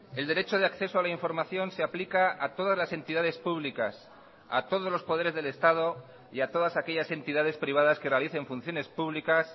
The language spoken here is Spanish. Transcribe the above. el derecho de acceso a la información se aplica a todas las entidades públicas a todos los poderes del estado y a todas aquellas entidades privadas que realicen funciones públicas